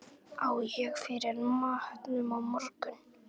Á ég fyrir matnum á morgun?